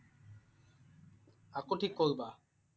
আকৌ ঠিক কৰিবা?